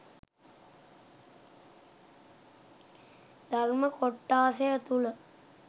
ධර්ම කොට්ඨාසය තුළ